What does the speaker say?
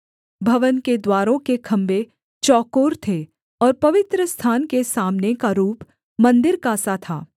भवन के द्वारों के खम्भे चौकोर थे और पवित्रस्थान के सामने का रूप मन्दिर का सा था